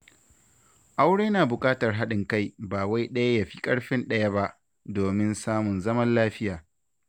Aure yana buƙatar haɗin kai, ba wai ɗaya ya fi ƙarfin ɗayan ba, domin samun zaman lafiya.